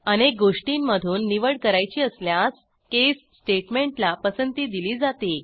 अनेक गोष्टींमधून निवड करायची असल्यास केस स्टेटमेंटला पसंती दिली जाते